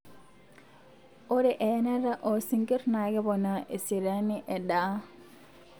ore eyanata o sinkir na keponaa eseriani edaa